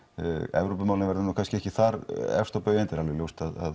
Evrópumálin verði kannski ekki þar efst á baugi enda er alveg ljóst að